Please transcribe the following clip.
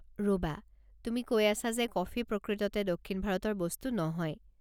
ৰ'বা! তুমি কৈ আছা যে কফি প্ৰকৃততে দক্ষিণ ভাৰতৰ বস্তু নহয়?